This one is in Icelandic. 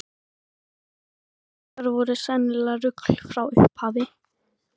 Dagar okkar voru sennilegt rugl frá upphafi.